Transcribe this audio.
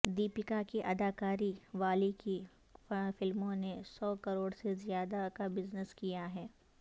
دیپکا کی اداکاری والی کئی فلموں نے سو کروڑ سے زیادہ کا بزنس کیا ہے